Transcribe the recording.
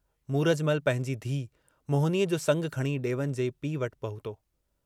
मूरजमल पंहिंजे धीउ मोहिनीअ जो संगु खणी डेवन जे पीउ वटि पहुतो।